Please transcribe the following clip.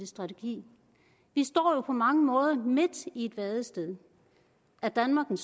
strategi vi står jo på mange måder midt i et vadested er danmark en